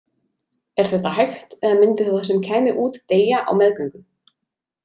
Er þetta hægt eða myndi það sem kæmi út deyja á meðgöngu?